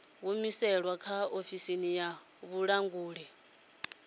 humusilwe kha ofisi ya vhulanguli